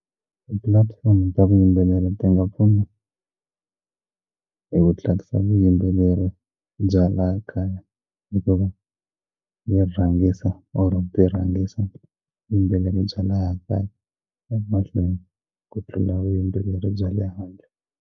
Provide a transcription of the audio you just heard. Ti-platform ta vuyimbeleri ti nga pfuna hi ku tlakusa vuyimbeleri bya laha kaya hikuva yi rhangisa or byi rhangisa vuyimbeleri bya laya kaya emahlweni ku tlula vuyimbeleri bya le handle.